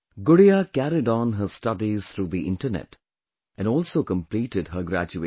Gudiya carried on her studies through the internet, and also completed her graduation